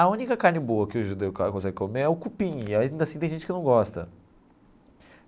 A única carne boa que o judeu consegue comer é o cupim e, ainda assim, tem gente que não gosta.